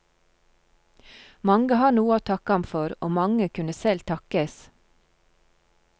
Mange har noe å takke ham for, og mange kunne selv takkes.